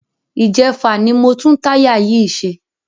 Ìjẹfà ni mo tún táyà yìí ṣe.